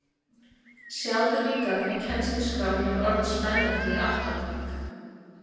Sjáðu líka hvað kennsluskráin er orðin spennandi í átta ára bekk